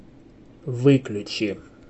выключи